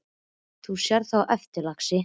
Þú sérð það á eftir, lagsi.